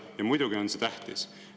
Ja muidugi on see tähtis.